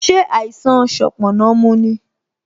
Ṣé àìsàn sanponna mu ni?